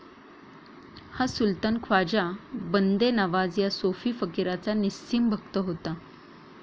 हा सुल्तान ख्वाजा बंदे नवाज या सोफी फकीराचा निस्सिम भक्त होता.